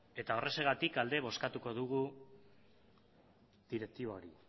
eta horrexegatik aldez bozkatuko dugu direktiba hori